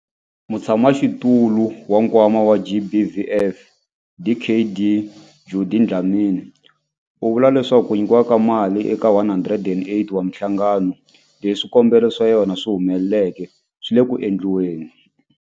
Mutshamaxitulu wa Nkwama wa GBVF, Dkd Judy Dlamini, u vula leswaku ku nyikiwa ka mali eka 108 wa mihlangano leyi swikombelo swa yona swi humeleleke swi le ku endliweni.